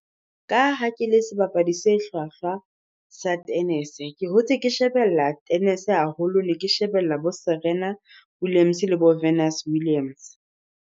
Ka ha ke le sebapadi se hlwahlwa sa tennis-e, ke hotse ke shebella tennis-e haholo ne ke shebella bo Serena Williams le bo Williams.